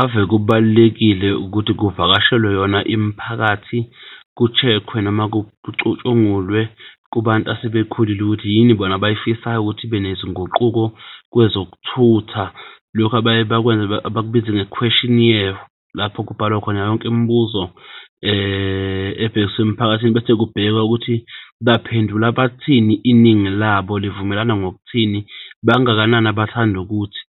Ave kubalulekile ukuthi kuvakashelwe yona imiphakathi ku-check-we noma kucutshungulwe kubantu asebekhulile ukuthi yini bona abay'fisayo ukuthi ibe nezinguquko kwezokuthutha. Lokhu abaye bakwenze abakubiza nge-Qquestionnaire lapho kubhalwa khona yonke imibuzo ebhekiswe emphakathini bese kubhekwe ukuthi baphendula bathini iningi labo livumelana ngokuthini. Bangakanani abathanda ukuthi?